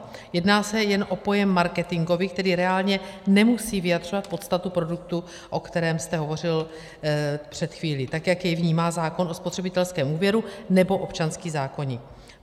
Jedná se jen o pojem marketingový, který reálně nemusí vyjadřovat podstatu produktu, o kterém jste hovořil před chvílí, tak jak jej vnímá zákon o spotřebitelském úvěru nebo občanský zákoník.